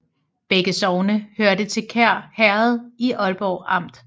Begge sogne hørte til Kær Herred i Aalborg Amt